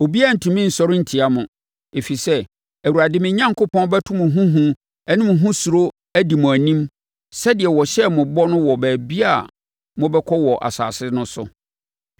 Obiara rentumi nsɔre ntia mo, ɛfiri sɛ, Awurade, mo Onyankopɔn, bɛto mo ho hu ne mo ho suro adi mo anim sɛdeɛ ɔhyɛɛ mo bɔ no wɔ baabiara a mobɛkɔ wɔ asase no so.